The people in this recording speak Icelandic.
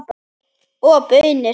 Og baunir.